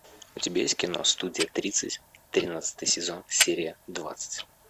у тебя есть кино студия тридцать тринадцатый сезон серия двадцать